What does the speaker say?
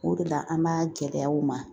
O de la an b'a gɛlɛya u ma